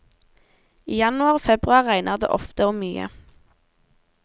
I januar og februar regner det ofte og mye.